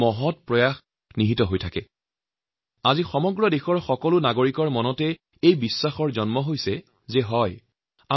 আজি সমগ্ৰ দেশৰ যুৱকযুৱতী মহিলা পিছপৰা শ্ৰেণীৰ লোক দুখীয়া মধ্যবিত্তসকলো শ্ৰেণীৰ লোকৰ মাজত এইটো বিশ্বাস জন্মিছে যে হয় আমি উন্নতিৰ পথত আগুৱাই যাব পাৰিম